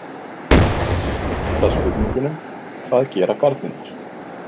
Hér er einnig svarað spurningunum: Hvað gera garnirnar?